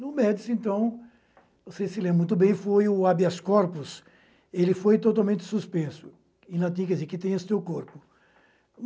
No Médici, então, vocês se lembram muito bem, foi o habeas corpus, ele foi totalmente suspenso, em latim quer dizer que tenhas teu corpo.